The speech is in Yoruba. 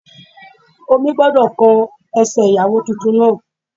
Omi gbọ́dọ̀ kan ẹsẹ̀ ìyàwó titun náà